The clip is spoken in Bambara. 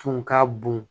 Tun ka bon